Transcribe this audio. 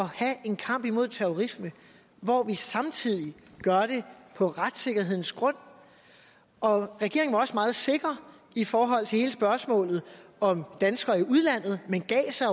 have en kamp imod terrorisme hvor vi samtidig gør det på retssikkerhedens grund og regeringen var også meget sikker i forhold til hele spørgsmålet om danskere i udlandet men gav sig